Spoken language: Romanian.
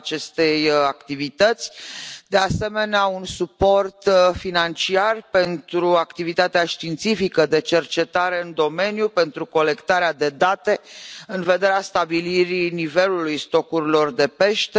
cerem, de asemenea, un suport financiar pentru activitatea științifică de cercetare în domeniu, pentru colectarea de date în vederea stabilirii nivelului stocurilor de pește.